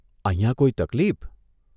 અહીંયા કોઇ તકલીફ?